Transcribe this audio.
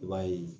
I b'a ye